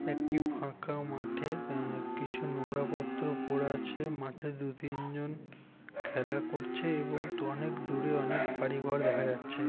একটি ফাঁকা মাঠে অ্যাঁ কিছু নোংরা পত্র পড়ে আছে মাঠে দু তিনজন খেলা করছে এবং অনেক দূরে অনেক বাড়িঘর দেখা যাচ্ছে ।